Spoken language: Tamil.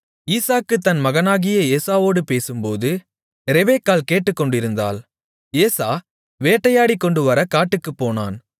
ஈசாக்கு தன் மகனாகிய ஏசாவோடு பேசும்போது ரெபெக்காள் கேட்டுக்கொண்டிருந்தாள் ஏசா வேட்டையாடிக்கொண்டுவர காட்டுக்குப் போனான்